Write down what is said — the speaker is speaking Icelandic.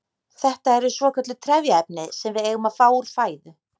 Þetta eru svokölluð trefjaefni sem við eigum að fá úr fæðu.